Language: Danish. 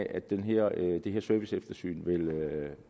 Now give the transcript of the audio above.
at det her serviceeftersyn vil